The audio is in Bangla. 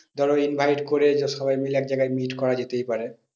ধরো invite করে সবাই মিলে এক জায়গায় meet করা যেতেই পারে।